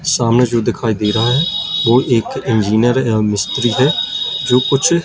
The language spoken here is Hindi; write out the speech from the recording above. सामने जो दिखाई दे रहा हैं वो एक इंजनियर या मिस्त्री हैं जो कुछ--